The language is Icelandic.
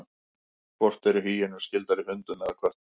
Hvort eru hýenur skyldari hundum eða köttum?